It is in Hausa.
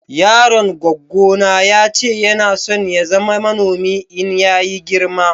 yaron gwaggo na ya ce Yana son ya zama manomi in ya yi girma.